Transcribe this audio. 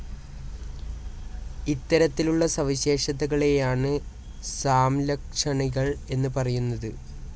ഇത്തരത്തിലുള്ള സവിശേഷതകളേയാണ് സാംലക്ഷണികൾ എന്ന് പറയുന്നത്.